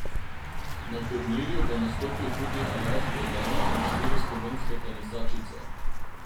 Na turnirju bo nastopil tudi Aljaž Bedene in štiri slovenske tenisačice.